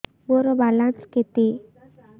ମୋର ବାଲାନ୍ସ କେତେ